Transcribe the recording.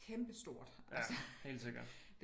Kæmpe stort altså